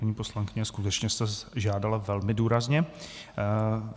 Paní poslankyně, skutečně jste žádala velmi důrazně.